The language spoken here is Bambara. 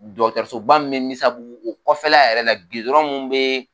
Dɔgɔtɔrɔsoba min bɛ Misabu o kɔfɛla yɛrɛ la min bɛ